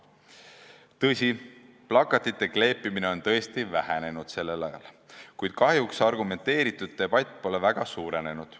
Tõsi, plakatite kleepimine on sel ajal tõesti vähenenud, kuid argumenteeritud debati osa pole kahjuks eriti suurenenud.